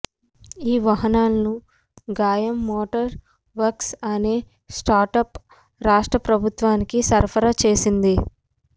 ఈ వాహనాలను Gayam motor works అనే స్టార్టప్ రాష్ర్ట ప్రభుత్వానికి సరఫరా చేసింది